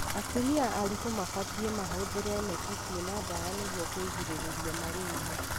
Atumia aritũ mabatie mahũthĩre neti ciina ndawa nĩguo kũgirĩrĩria malaria.